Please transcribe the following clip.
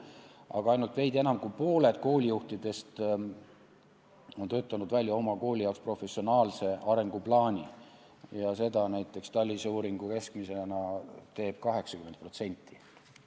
Aga ainult veidi enam kui pooled koolijuhtidest on töötanud välja oma kooli jaoks professionaalse arenguplaani ja seda teeb TALIS-e uuringu põhjal mujal riikides keskmiselt 80%.